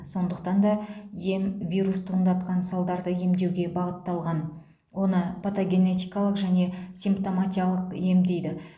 сондықтан да ем вирус туындатқан салдарды емдеуге бағытталған оны патогенетикалық және симптоматикалық ем дейді